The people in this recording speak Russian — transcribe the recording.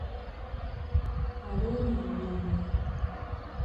алену юрьевну